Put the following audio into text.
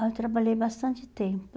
Aí eu trabalhei bastante tempo.